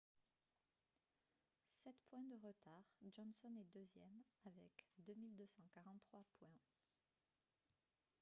sept points de retard johnson est deuxième avec 2243 points